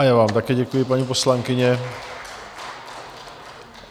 A já vám také děkuji, paní poslankyně.